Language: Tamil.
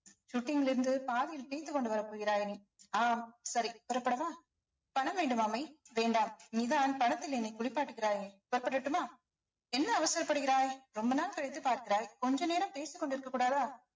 shooting லிருந்து பாதியில் கொண்டு வரப் போகிறாய் நீ ஆம் சரி புறப்படவா பணம் வேண்டுமா மெய் வேண்டாம் நீதான் பணத்தில் என்னை குளிப்பாட்டுகிறாயே புறப்படுட்டுமா என்ன அவசரப்படுகிறாய் ரொம்ப நாள் கழித்து பார்க்கிறாய் கொஞ்ச நேரம் பேசிக்கொண்டு இருக்க கூடாதா